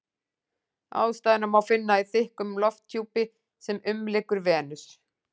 Ástæðuna má finna í þykkum lofthjúpi sem umlykur Venus.